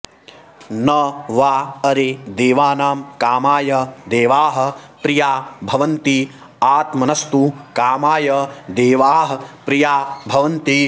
न॒ वा॒ अरे देवा॒नां का॒माय देवाः॒ प्रिया॒ भवन्ति आत्म॒नस्तु॒ का॒माय देवाः॒ प्रिया॒ भवन्ति